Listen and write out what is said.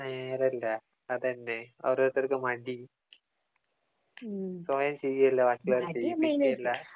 നേരല്ലേ അതന്നെ ഓരോരുത്തറക്ക് മടി സ്വയം ചെയ്യേമില്ല ബാക്കി ഉളോരെ കൊണ്ട് ചെയ്യിപ്പിക്കേമില്ലാ